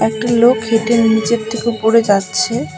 একটা লোক হেঁটে নীচের থেকে উপরে যাচ্ছে।